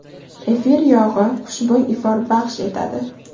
Efir yog‘i xushbo‘y ifor baxsh etadi.